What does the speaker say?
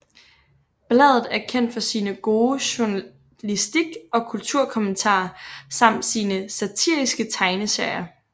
Bladet er kendt for sin gode journalistik og kulturkommentarer samt sine satariske tegneserier